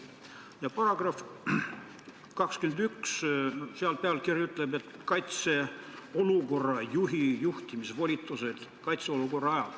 Ja § 21 pealkiri on "Kaitseolukorra juhi juhtimisvolitused kaitseolukorra ajal".